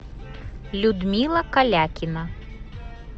людмила калякина